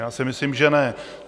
Já si myslím, že ne.